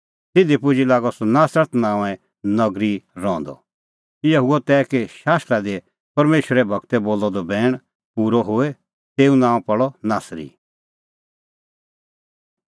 तिधी पुजी लागअ सह नासरत नांओंऐं एकी नगरी रहंदअ इहअ हुअ तै कि शास्त्रा दी परमेशरे गूरै बोलअ द बैण पूरअ होए तेऊ नांअ पल़णअ नासरी